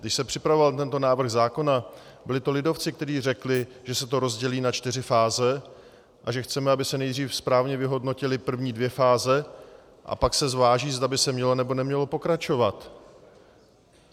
Když se připravoval tento návrh zákona, byli to lidovci, kteří řekli, že se to rozdělí na čtyři fáze a že chceme, aby se nejdřív správně vyhodnotily první dvě fáze, a pak se zváží, zda by se mělo nebo nemělo pokračovat.